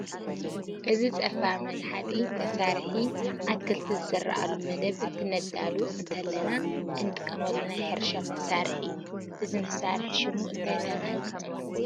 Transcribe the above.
እዚ ፀፋር መጓሕጠጢ መሳርሒ ኣትክልቲ ዝዝርአሉ መደብ እንትነዳሉ እንተለና እንጥቀመሉ ናይ ሕርሻ መሣርሒ እዩ፡፡ እዚ መሳርሒ ሽሙ እንታይ ተባሂሉ ይፅዋዕ?